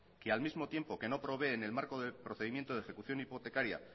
que al mismo tiempo que no provee en el marco de procedimiento de ejecución hipotecaria